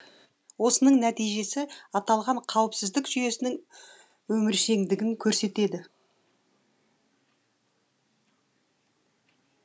осының нәтижесі аталған қауіпсіздік жүйесінің өміршеңдігін көрсетеді